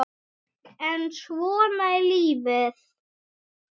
En svona er litla lífið.